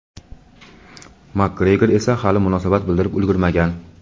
Makgregor esa hali munosabat bildirib ulgurmagan.